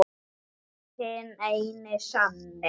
Hinn eini sanni!